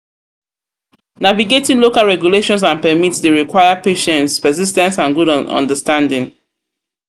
Navigating local regulations and permits dey require patience, persis ten ce and good good understanding.